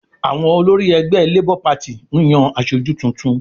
Àwọn olórí ẹgbẹ́ LABOUR PARTY ń yan aṣojú tuntun